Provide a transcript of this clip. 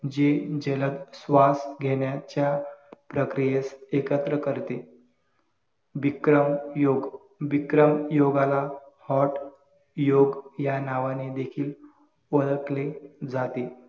जे जलद श्वास घेण्याच्या प्रक्रियेस एकत्र करते बिक्रम योग बिक्रम योगाला hot योग या नावाने देखील ओळखले जाते